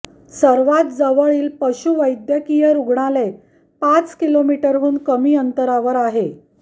सर्वात जवळील पशुवैद्यकीय रुग्णालय पाच किलोमीटरहून कमी अंतरावर आहे